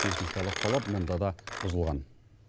техникалық талап мұнда да бұзылған